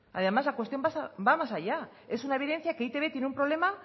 además la cuestión va más allá es una evidencia que e i te be tiene un problema